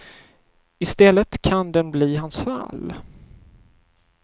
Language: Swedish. I stället kan den bli hans fall.